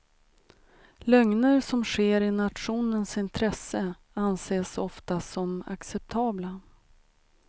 Lögner som sker i nationens intresse anses oftast som acceptabla.